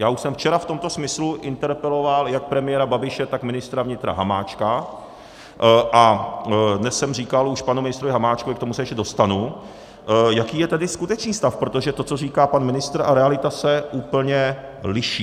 Já už jsem včera v tomto smyslu interpeloval jak premiéra Babiše, tak ministra vnitra Hamáčka a dnes jsem říkal už panu ministrovi Hamáčkovi, k tomu se ještě dostanu, jaký je tedy skutečný stav, protože to, co říká pan ministr, a realita se úplně liší.